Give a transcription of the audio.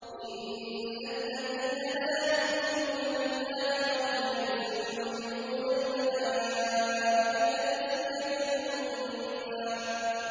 إِنَّ الَّذِينَ لَا يُؤْمِنُونَ بِالْآخِرَةِ لَيُسَمُّونَ الْمَلَائِكَةَ تَسْمِيَةَ الْأُنثَىٰ